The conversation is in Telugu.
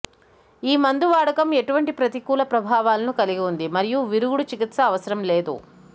ఈ మందు వాడకం ఎటువంటి ప్రతికూల ప్రభావాలను కలిగి ఉంది మరియు విరుగుడు చికిత్స అవసరం లేదు